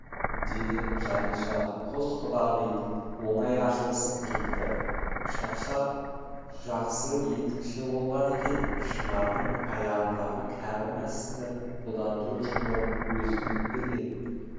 деді жаниша қос құдағи оңай ашылысып кетті шақшақ жақсы етікші болған екен шынардың аяғындағы кебіс-мәсті бұдан төрт жыл бұрын өзі тігіп берген